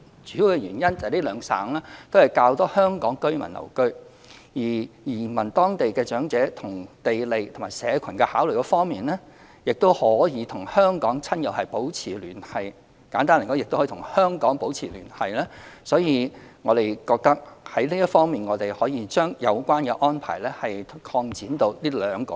主要原因是兩省均有較多香港居民居留，移居當地的長者在地利和社群考慮方面，亦可與香港親友保持聯繫，簡單而言亦可與香港保持聯繫，所以我們認為可以將有關安排擴展至這兩省。